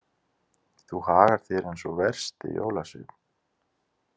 Þú hagar þér eins og versti jólasveinn.